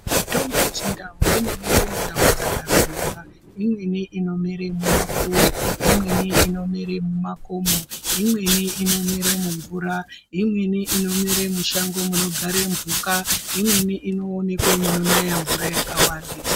Mutombo yeChindau inomere mundau dzakasiyana, imweni inomere mumapuwe, imweni inomere mumakomo, imweni inomere mumvura, imweni inomere mushango munogare mphuka ,imweni inowonekwe munonaya mvura yakawandisa